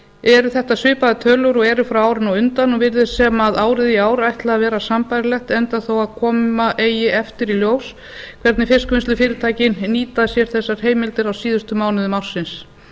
eru þetta svipaðar tölur og eru frá árinu á undan og virðist sem árið í ár ætli að vera sambærilegt enda þó koma eigi eftir í ljós hvernig fiskvinnslufyrirtækin nýta sér þessar heimildir á síðustu mánuðum ársins